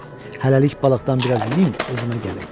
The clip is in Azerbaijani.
Hələlik balıqdan biraz yeyim özümə gəlim.